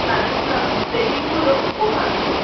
coloring coloring plating গুলো, খুব ভালো লাগে.